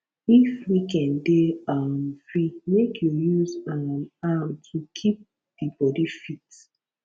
if weekend dey um free mek yu use um am to kip di bodi fit